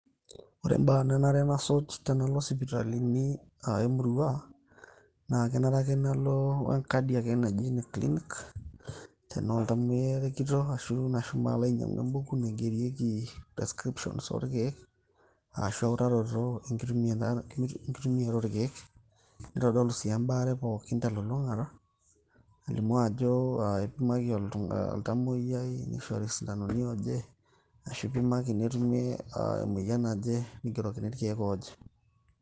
Ore imbaa naanare nasuj tenalo sipitalini e murua. Naa kenare ake nalo e kadi ake naji ene clinic. Tenaa oltamuoyiai irikito oshomo ainyiang`u em`buku naigerieki description oo irkiek ,ashu e utaroto e nkitumiata oo ilkiek. Neitodolu sii embaare pookin te lulung`ata nilimu ajo, eipimaki oltamuoyiai neishori isindanoni ooje ashu ipimaki nitumieki emoyian naje ning`erokini irkiek ooje.